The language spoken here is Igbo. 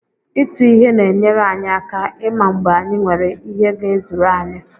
Ịtụ ihe na-enyere anyị aka ịma mgbe anyị nwere ihe ga-ezuru anyị.